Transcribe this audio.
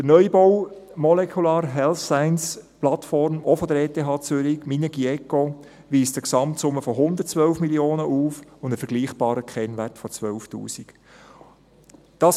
Der Neubau «Molecular Health Science Platform» der ETH Zürich, Minergie-ECO-Standard, weist eine Gesamtsumme von 112 Mio. Franken und einen vergleichbaren Kennwert von 12 000 Franken auf.